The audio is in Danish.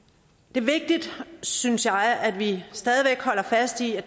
det er vigtigt synes jeg at vi stadig væk holder fast i at